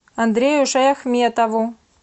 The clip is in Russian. андрею шаяхметову